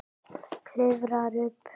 Klifrar upp.